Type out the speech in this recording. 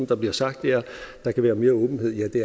der bliver sagt er at der kan være mere åbenhed ja det